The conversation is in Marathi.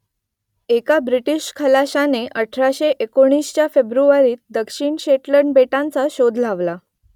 एका ब्रिटीश खलाशाने अठराशे एकोणीसच्या फेब्रुवारीत दक्षिण शेटलंड बेटांचा शोध लावला